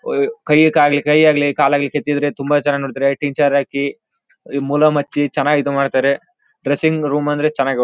ಒಹ್ ಕೈಕಾಲ್ ಕೈಯಾಗ್ಲಿ ಕಾಲಾಗ್ಲಿ ಕೆತ್ತಿದರೆ ತುಂಬಾ ಚೆನ್ನಾಗಿ ನೋಡ್ತಾರೆ ಟೀಚರ್ ಆಗ್ಲಿ ಇದು ಮೂಲಮಚ್ಚಿ ಚೆನ್ನಾಗಿ ಇದು ಮಾಡ್ತಾರೆ ಡ್ರೆಸ್ಸಿಂಗ್ ರೂಮ್ ಅಂದ್ರೆ ಚೆನ್ನಾಗಿ--